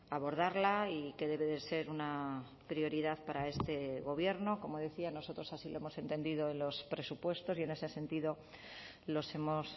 abordarla y que debe de ser una prioridad para este gobierno como decía nosotros así lo hemos entendido en los presupuestos y en ese sentido los hemos